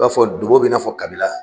ba fɔ donmo bi na fɔ kabila.